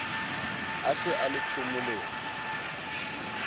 a se a le phomolong